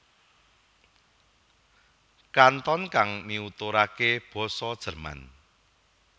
Kanton kang miuturake basa Jerman